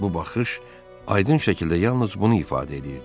Bu baxış aydın şəkildə yalnız bunu ifadə eləyirdi.